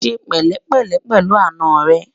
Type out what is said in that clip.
ṣé pèlé pèlé pèlú àná rè